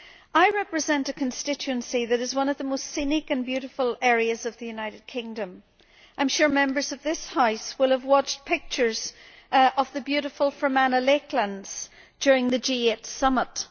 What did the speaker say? I represent a constituency that is one of the most scenic and most beautiful areas of the United Kingdom. I am sure that Members of this House will have watched pictures of the beautiful Fermanagh lakelands during the G8 summit.